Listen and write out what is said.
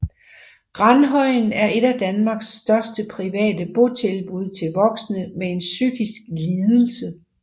Granhøjen er et af Danmarks største private botilbud til voksne med en psykisk lidelse